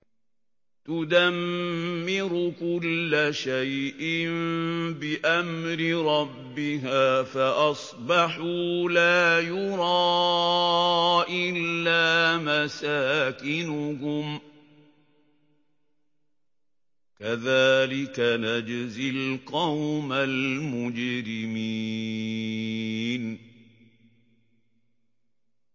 تُدَمِّرُ كُلَّ شَيْءٍ بِأَمْرِ رَبِّهَا فَأَصْبَحُوا لَا يُرَىٰ إِلَّا مَسَاكِنُهُمْ ۚ كَذَٰلِكَ نَجْزِي الْقَوْمَ الْمُجْرِمِينَ